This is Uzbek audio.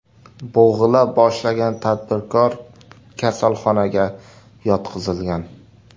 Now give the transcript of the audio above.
Bo‘g‘ila boshlagan tadbirkor kasalxonaga yotqizilgan.